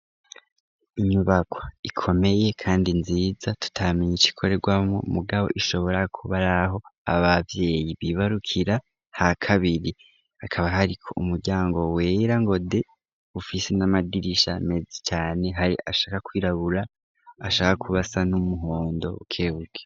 Inyubakwa ikomeye kandi nziza, tutamenye icikorerwamwo mugabo ishobora kuba araho ababyeyi bibarukira hakabiri, akaba hariko umuryango wera ngo de, ufise n'amadirisha meza cane, hari ahashaka kwirabura, ahashaka kuba asa n'umuhondo bukebuke.